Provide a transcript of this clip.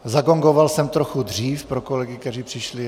Zagongoval jsem trochu dřív, pro kolegy, kteří přišli.